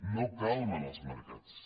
no calmen els mercats